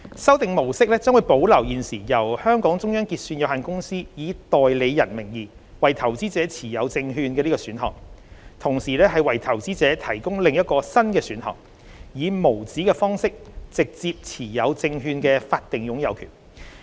修訂模式將保留現時由香港中央結算有限公司以代理人名義為投資者持有證券的選項，同時為投資者提供另一個新的選項，以無紙方式直接持有證券的法定擁有權。